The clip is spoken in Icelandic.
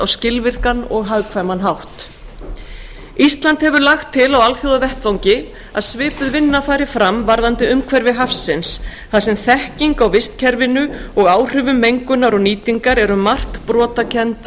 skilvirkan og hagkvæman hátt ísland hefur lagt til á alþjóðavettvangi að svipuð vinna fari fram varðandi umhverfi hafsins þar sem þekking á vistkerfinu og áhrifum mengunar og nýtingar